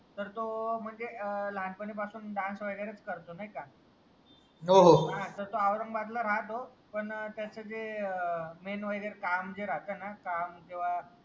तर तो म्हणजे लहानपणी पासून डान्स वगैरे करतो नाय का तर तोऔरंगाबादला राहतो पण त्याचा जे ए मेन वगैरे काम वगैरे राहता ना काम किंवा